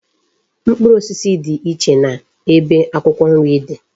Mkpụrụ osisi di iche na ebe akwukwo nri di